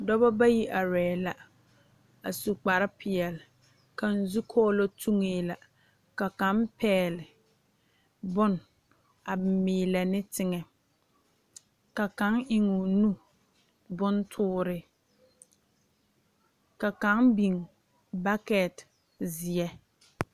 Dɔbɔ bayi arɛɛ la a su kparepeɛle kaŋ zukɔɔlɔ tuŋee la ka kaŋ pɛgle bon a meɛɛlɛ ne teŋɛ ka kaŋ eŋoo nu bontoore ka kaŋ biŋ bakɛte zeɛ.